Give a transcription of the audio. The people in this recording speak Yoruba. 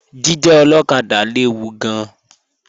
Jíjẹ́ ọlọ́kadà léwu gan-an